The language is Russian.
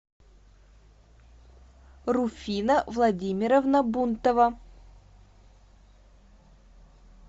руфина владимировна бунтова